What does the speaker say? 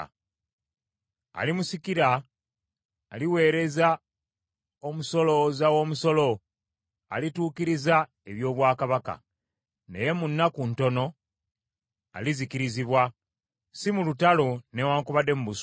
“Alimusikira, aliweereza omusolooza w’omusolo alituukiriza eby’obwakabaka, naye mu nnaku ntono alizikirizibwa, si mu lutalo newaakubadde mu busungu.